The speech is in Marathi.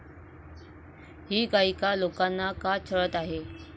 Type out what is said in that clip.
ही गायिका लोकांना का छळत आहे?